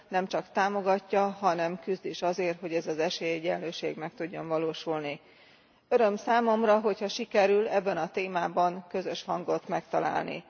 Nem csak támogatja, hanem küzd is azért, hogy ez az esélyegyenlőség meg tudjon valósulni. Öröm számomra, hogyha sikerül ebben a témában közös hangot megtalálni.